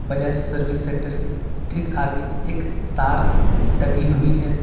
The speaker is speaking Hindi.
बजाज सर्विस सेंटर की ठीक आगे एक तार टंगी हुई है।